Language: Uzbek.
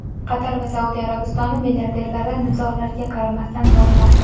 Qatar va Saudiya Arabistoni milliarderlari nizolarga qaramasdan boyimoqda.